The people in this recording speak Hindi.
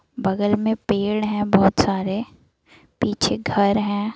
बगल मे पेड़ है बहोत सारे पीछे घर है।